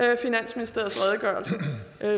det finansministeriets redegørelse